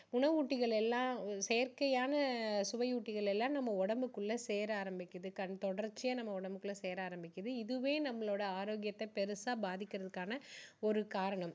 உணவூட்டிகள் எல்லாம் செயற்கையான சுவையூட்டிகள் எல்லாம் நம்ம உடம்புக்குள்ள சேர ஆரம்பிக்குது கன்~தொடர்ச்சியா நம்ம உடம்புக்குள்ள சேர ஆரம்பிக்குது. இதுவே நம்மளோட ஆரோக்கியத்தை பெருசா பாதிக்கிறதுக்கான ஒரு காரணம்.